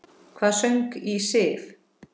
Hvað söng í Sif?